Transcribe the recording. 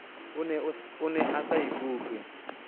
o ne a sa ikutlwe